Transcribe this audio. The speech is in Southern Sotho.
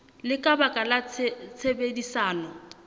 le ka baka la tshebedisano